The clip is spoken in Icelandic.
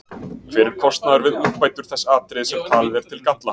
Hver er kostnaður við úrbætur þess atriðis sem talið er til galla?